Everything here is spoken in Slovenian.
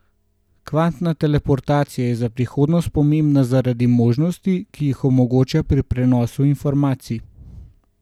Kvantna teleportacija je za prihodnost pomembna zaradi možnosti, ki jih omogoča pri prenosu informacij.